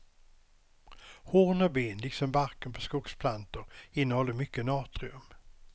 Horn och ben liksom barken på skogsplantor innehåller mycket natrium.